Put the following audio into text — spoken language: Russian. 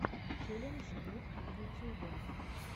челлендж гуд в ютюбе